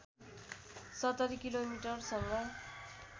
७० किलोमीटरसँग